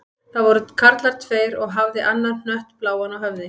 Það voru karlar tveir og hafði annar hött bláan á höfði.